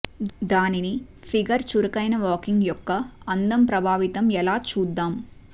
దానిని ఫిగర్ చురుకైన వాకింగ్ యొక్క అందం ప్రభావితం ఎలా చూద్దాం